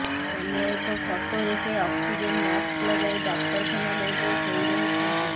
ଅନ୍ୟ ଏକ ଫଟୋରେ ସେ ଅକ୍ସିଜେନ୍ ମାକ୍ସ ଲଗାଇ ଡାକ୍ତରଖାନା ବେଡରେ ଶୋଇ ରହିଛନ୍ତି